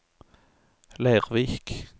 Leirvik